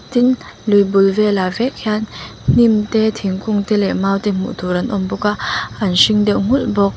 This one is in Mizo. tin lui bul velah vek hian hnim te thingkung te leh mau te hmuh tur an awm bawk a an hring deuh nghulh bawk.